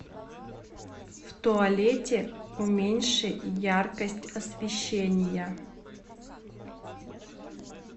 в туалете уменьши яркость освещения